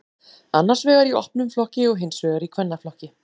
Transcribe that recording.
annars vegar í opnum flokki og hins vegar í kvennaflokki